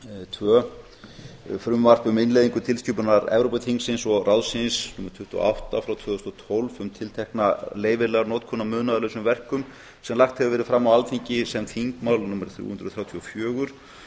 tvö frumvarp um innleiðingu tilskipunar evrópuþingsins og ráðsins númer tuttugu og átta frá tvö þúsund og tólf um tiltekna leyfilega notkun á munaðarlausum verkum sem lagt hefur verið fram á alþingi sem þingmál númer þrjú hundruð þrjátíu og fjögur